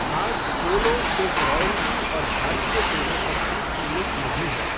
आज पोलो सिर्फ रॉयल्टी और भारतीय सेना तक ही सीमित नहीं है।